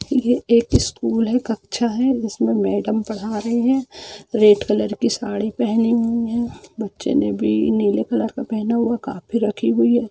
ये एक स्कूल है कक्षा है जिसमे मेडम पढ़ रही है और रेड कलर की शाड़ी पहनी हुई है बच्चे ने भी नीले रंग का कपड़ा पहना है काफी रखी हुई है ।